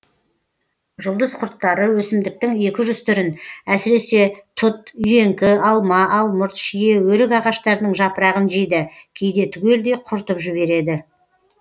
жұлдыз құрттары өсімдіктің екі жүз түрін әсіресе тұт үйеңкі алма алмұрт шие өрік ағаштарының жапырағын жейді кейде түгелдей құртып жібереді